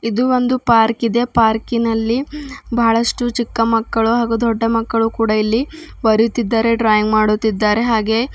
ಇದು ಒಂದು ಪಾರ್ಕಿದೆ ಪಾರ್ಕಿನಲ್ಲಿ ಬಹಳಷ್ಟು ಚಿಕ್ಕ ಮಕ್ಕಳು ಹಾಗೂ ದೊಡ್ಡ ಮಕ್ಕಳು ಕೂಡ ಇಲ್ಲಿ ಬರುತ್ತಿದ್ದರೆ ಡ್ರಾಯಿಂಗ್ ಮಾಡುತ್ತಿದ್ದಾರೆ ಹಾಗೆ--